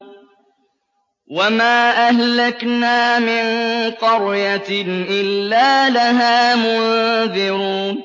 وَمَا أَهْلَكْنَا مِن قَرْيَةٍ إِلَّا لَهَا مُنذِرُونَ